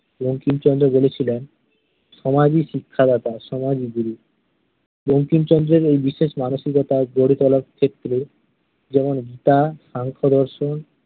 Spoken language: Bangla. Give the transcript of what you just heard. বঙ্কিমচন্দ্র বলেছিলেন সমাজই শিক্ষাদাতা, সমাজই গুরু। বঙ্কিমচন্দ্রের এই বিশেষ মানসিকতা গড়ে তোলার ক্ষেত্রে যেমন গীতা, সাংখ্যদর্শন